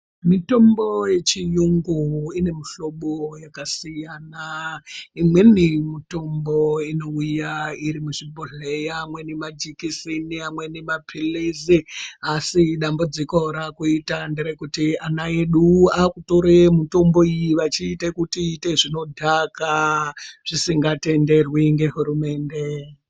Mitombo yechiyungu ine mihlobo yakasiyana imweni mitombo inouya iri muzvibhohlera, amweni majekiseni, amweni mapilizi asi dambudziko raakuita nderekuti ana edu akutore mitombo iyi vachiite kuti iite zvinodhaka zvisikatenderwi ngehurumende.